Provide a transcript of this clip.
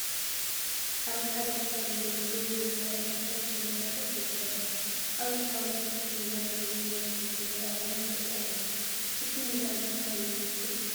ኣርማ ሓደ ትካል ወይ ውድብ ወይ ማሕበር እንታይ ከምዝሰርሕ ይሕብረልና፡፡ ኣብዚ ሓወልቲ ምስ ሚዛን ዘለዎ ናይ ፖሊስ ትግራይ ኣርማ ንርኢ ኣለና፡፡ እቲ ሚዛን እንታይ የመልክት?